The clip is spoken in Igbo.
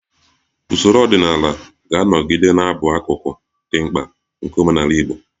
Usoro ọdịnala ga-anọgide na-abụ akụkụ dị mkpa nke omenala Igbo